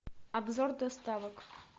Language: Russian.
обзор доставок